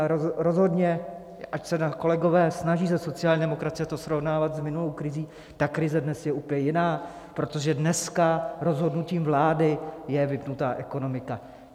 Ale rozhodně, ať se kolegové snaží ze sociální demokracie to srovnávat s minulou krizí, ta krize dnes je úplně jiná, protože dneska rozhodnutím vlády je vypnutá ekonomika.